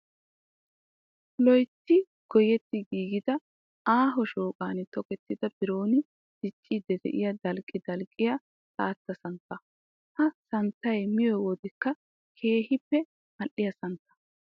Loytti goyetti giigida aaho shooqan tokettida biron dicciiddi diyaa dalqqi dalqqiyaa xaatta santtaa. Ha santtayi miyo wodekka keehippe mal"iyaa santta.